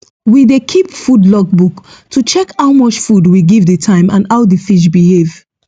we dey keep food logbook to check how much food we give the time and how the fish behave